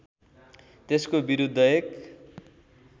त्यसको विरुद्ध एक